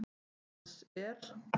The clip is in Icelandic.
Dans er?